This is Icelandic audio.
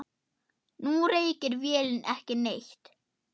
Nú reykir vélin ekki neitt.